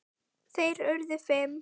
Þeir urðu fimm.